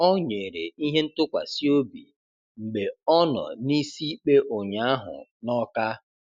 Ọ̀ nyèrè ihe ńtụ̀kwásị obi mgbe ọ nọ n'isi ikpe ụnyaahụ n'Ọ́ká